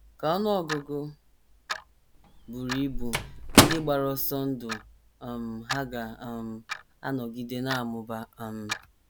Ka ọnụ ọgụgụ buru ibu ndị gbara ọsọ ndụ um hà ga um - anọgide na - amụba? um